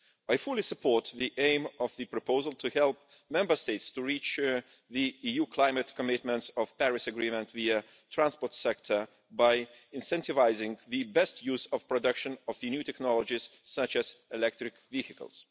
I fully support the aim of the proposal to help Member States to reach the EU climate commitments under the Paris Agreement for the transport sector by incentivising the best use in production of new technologies such as electric vehicles.